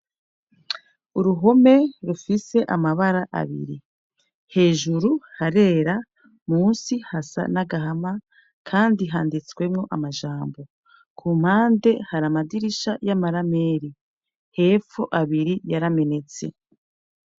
Uruhome rufise amabara abiri hejuru harera munsi hasa n'agahama kandi handitswemwo amajmbo hepfo hari amadirisha y'amarameri hepfo abiri yaramenetse.